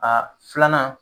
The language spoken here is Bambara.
A filanan